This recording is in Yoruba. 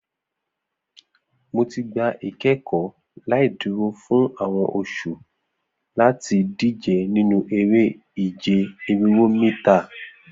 Mo ti gba ikẹkọ laiduro fun awọn oṣu lati dije ninu ere-ije irinwo mita